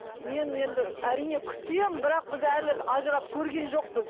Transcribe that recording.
мен енді әрине күтемін бірақ біз әлі ажырап көрген жоқпыз